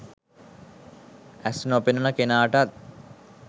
ඇස් නොපෙනෙන කෙනාටත්